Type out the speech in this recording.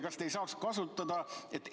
Kas te ei saaks kasutada?